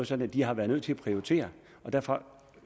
sådan at de har været nødt til at prioritere derfor